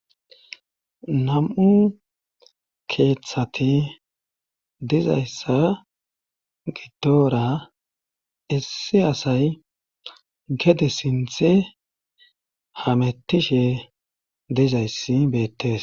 nam7u keeththati dizayssa gidora isse asay gede sinthe hamettishe dizayssi beettes